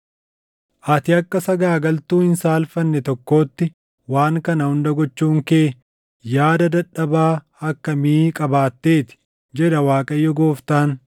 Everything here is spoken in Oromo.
“ ‘Ati akka sagaagaltuu hin saalfanne tokkootti waan kana hunda gochuun kee yaada dadhabaa akkamii qabaatteeti! jedha Waaqayyo Gooftaan.